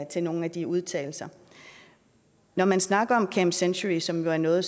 til nogle af de udtalelser når man snakker om camp century som er noget